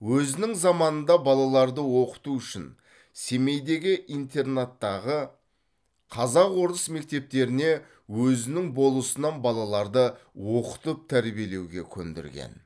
өзінің заманында балаларды оқыту үшін семейдегі интернаттағы қазақ орыс мектептеріне өзінің болысынан балаларды оқытып тәрбиелеуге көндірген